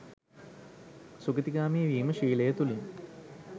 සුගතිගාමි වීම ශීලය තුලින්